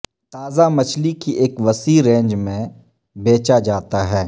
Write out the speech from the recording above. تازہ مچھلی کی ایک وسیع رینج میں بیچا جاتا ہے